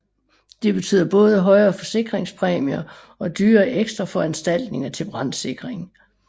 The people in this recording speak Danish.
Det betyder både højere forsikringspræmier og dyre ekstraforanstaltninger til brandsikring